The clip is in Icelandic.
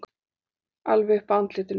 Alveg upp að andlitinu.